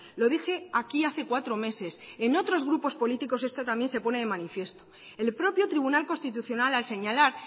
lo dije aquí hace cuatro meses en otros grupos políticos esto también se pone de manifiesto el propio tribunal constitucional al señalar